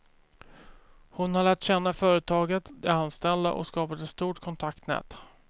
Hon har lärt känna företaget, de anställda och skapat ett stort kontaktnät.